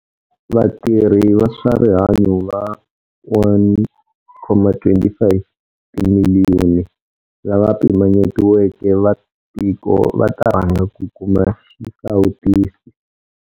Vatirhi va swa rihanyu va 1.25 timiliyoni lava pimanyetiweke va tiko va ta rhanga ku kuma xisawutisi.